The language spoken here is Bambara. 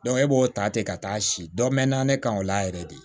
e b'o ta ten ka taa si dɔ mɛnna ne kan o la yɛrɛ de